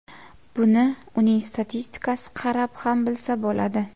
Buni uning statistikasi qarab ham bilsa bo‘ladi.